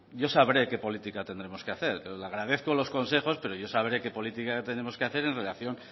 yo sabré qué política tendremos que hacer le agradezco los consejos pero yo sabré qué política tenemos que hacer en relación